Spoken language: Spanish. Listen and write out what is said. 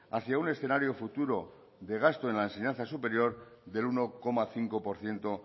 hacia un escenario futuro de gasto en la enseñanza superior del uno coma cinco por ciento